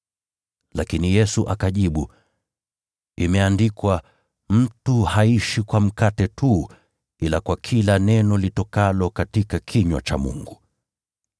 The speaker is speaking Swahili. Lakini Yesu akajibu, “Imeandikwa: ‘Mtu haishi kwa mkate tu, ila kwa kila neno litokalo katika kinywa cha Mungu.’ ”